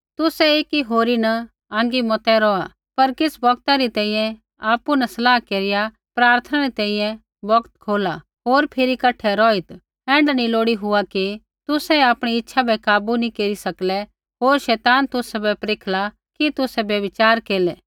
तुसै एकी होरी न आँगी मता रौहै पर किछ़ बौगता री तैंईंयैं आपु न सलाह केरिया प्रार्थना री तैंईंयैं बौगत खोला होर फिरी कठै रौहित् ऐण्ढा नी लोड़ी हुआ कि तुसै आपणी इच्छा बै काबू नैंई केरी सकलै होर शैतान तुसाबै परखला कि तुसै व्यभिचार केरलै